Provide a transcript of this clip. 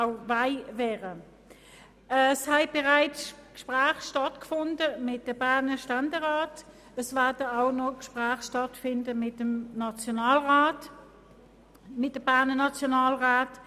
Es haben diesbezüglich bereits Gespräche mit den Berner Ständeräten stattgefunden, und es werden noch Gespräche mit den Berner Nationalräten stattfinden.